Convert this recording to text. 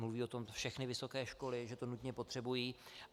Mluví o tom všechny vysoké školy, že to nutně potřebují.